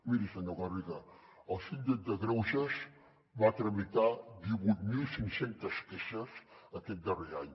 miri senyor garriga el síndic de greuges va tramitar divuit mil cinc cents queixes aquest darrer any